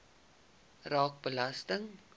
raak belasting